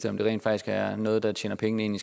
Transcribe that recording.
om det rent faktisk er noget der tjener penge ind